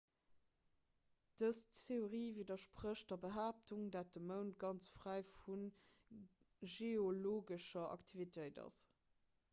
dës theorie widdersprécht der behaaptung datt de mound ganz fräi vu geologescher aktivitéit ass